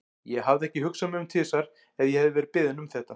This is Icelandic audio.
Ég hefði ekki hugsað mig um tvisvar ef ég hefði verið beðin um þetta.